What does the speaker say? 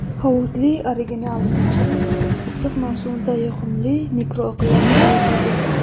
Hovuzli original yechim issiq mavsumda yoqimli mikroiqlim yaratadi.